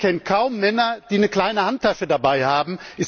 Ich kenne kaum Männer, die eine kleine Handtasche dabei haben.